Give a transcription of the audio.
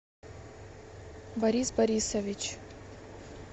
борис борисович